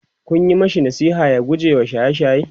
Kun Yi mashi nasiha ya gujewa shaye shaye?